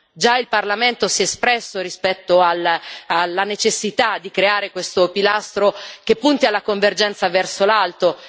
Già il Parlamento si è espresso rispetto alla necessità di creare questo pilastro che punti alla convergenza verso l'alto.